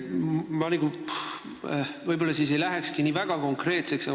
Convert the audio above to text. Ma võib-olla ei lähekski nii väga konkreetseks.